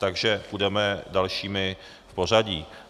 Takže půjdeme další v pořadí.